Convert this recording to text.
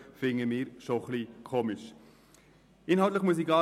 Inhaltlich brauche ich nichts weiter zu sagen.